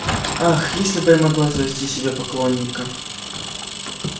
ах если бы я могла завести себе поклонника